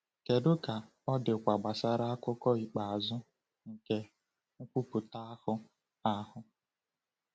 Kedu ka ọ dịkwa gbasara akụkụ ikpeazụ nke nkwupụta ahụ? ahụ?